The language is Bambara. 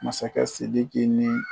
Masakɛ Sidiki ni